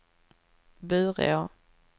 Bureå